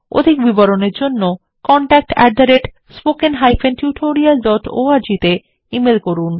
অধিক বিবরণের জন্য contactspoken tutorialorg তে ইমেল করুন